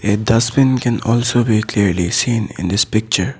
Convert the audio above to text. A dustbin can also be clearly seen in this picture.